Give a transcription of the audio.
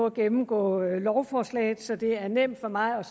at gennemgå lovforslaget så det er nemt for mig